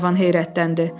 Qlenarvan heyrətləndi.